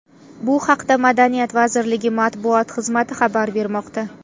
Bu haqda Madaniyat vazirligi matbuot xizmati xabar bermoqda .